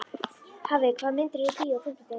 Hafey, hvaða myndir eru í bíó á fimmtudaginn?